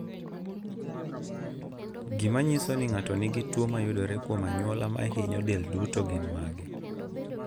Gik manyiso ni ng'ato nigi tuwo mayudore kuom anyuola mahinyo del duto gin mage?